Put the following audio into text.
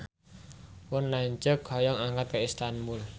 Pun lanceuk hoyong angkat ka Istanbul